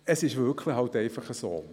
Es ist wirklich so: